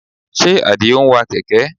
Ṣe Àdìó ń wa kẹ̀kẹ́?